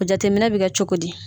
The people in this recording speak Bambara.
O jateminɛ bɛ kɛ cogo di.